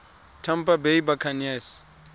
tampa bay buccaneers